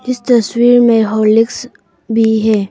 इस तस्वीर में हॉर्लिक्स भी है।